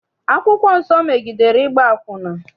Akwụkwọ nsọ megidere ịgba akwụna.